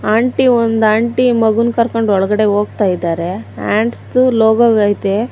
Aunty ಒಂದ್ aunty ಮಗು ಕರ್ಕೊಂಡ್ ಒಳಗಡೆ ಹೋಗ್ತಾ ಇದ್ದಾರೆ ಹ್ಯಾಂಡ್ಸ್ ದು ಲೋಗೋ ಐತೆ.